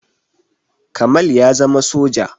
Kamal ya zama soja